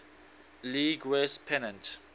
league west pennant